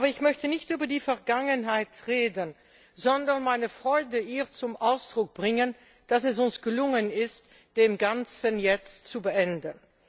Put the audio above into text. Aber ich möchte nicht über die Vergangenheit sprechen, sondern meine Freude zum Ausdruck bringen, dass es uns gelungen ist, das Ganze jetzt zu beenden.